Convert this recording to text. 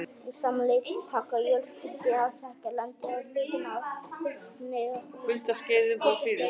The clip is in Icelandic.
Um sama leyti taka jökulskildir að þekja landið að hluta á kuldaskeiðum og fyrir